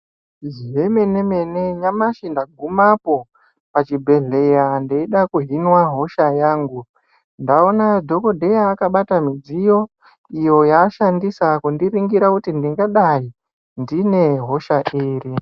Zvemene mene nyamashi ndagumapo pachibhedhlera ndeida kuhinwa hosha yangu ndaona dhokodheya akabata midziyo iyo yaashandisa kundiningira kuti ndingadai ndine hosha iri.